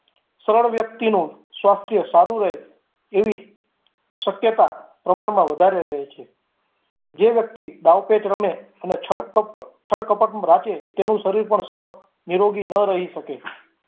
સરળ વ્યક્તિનું સ્વાસ્થ્ય સારું રહે એવી શક્યતા પ્રમાણમાં વધારે રહે છે, જે વ્યક્તિ દાવ પેચ રમે અને છળ-કપટ રાખે એનું શરીર પણ સાવ નિરોગી ન રહી શકે